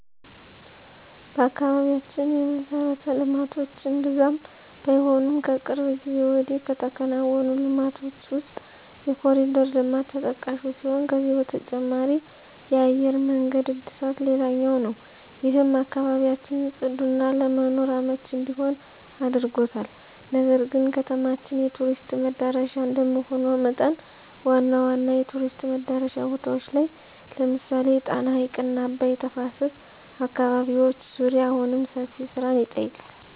በአካባቢያችን የመሠረተ ልማቶች እምብዛም ባይሆኑም ከቅርብ ጊዜ ወዲህ ከተከናወኑ ልማቶች ውስጥ የኮርዲር ልማት ተጠቃሹ ሲሆን ከዚህ በተጨማሪ የአየር መንገድ እድሳት ሌላኛው ነው። ይህም አካባቢያችን ፅዱና ለመኖር አመቺ እንዲሆን አድርጎታል። ነገር ግን ከተማችን የቱሪስት መዳረሻ እንደመሆኗ መጠን ዋና ዋና የቱሪስት መዳረሻ ቦታዎች ላይ ለምሳሌ የጣና ሀይቅና አባይ ተፋሰስ አካባቢዎች ዙሪያ አሁንም ሰፊ ስራን ይጠይቃል።